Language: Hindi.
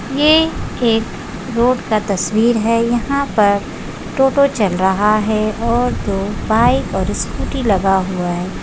ये एक रोड का तस्वीर है यहा पर टोटों चल रहा है और दो बाइक और स्कूटी लगा हुआ है।